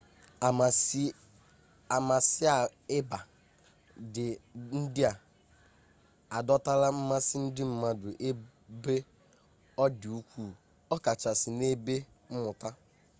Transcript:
amasaịba ndị a adọtala mmasị ndị mmadụ ebe ọ dị ukwuu ọkachasị n'ebe mmụta